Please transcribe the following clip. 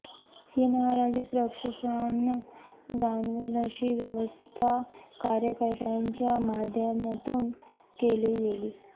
ही नाराजी प्रकर्षानं जाणवेल अशी व्यवस्था कार्यकर्त्यांच्या माध्यमातून केली गेली